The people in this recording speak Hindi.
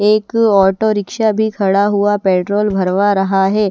एक ऑटो रिक्शा भी खड़ा हुआ पेट्रोल भरवा रहा है।